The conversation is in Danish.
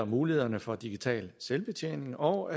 mulighederne for digital selvbetjening og